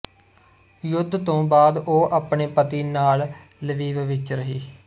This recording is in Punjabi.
ਯੁੱਧ ਤੋਂ ਬਾਅਦ ਉਹ ਆਪਣੇ ਪਤੀ ਨਾਲ ਲਵੀਵ ਵਿੱਚ ਰਹੀ